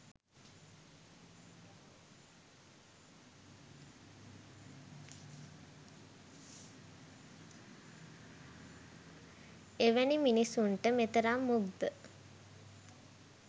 එවැනි මිනිසුන්ට මෙතරම් මුග්ද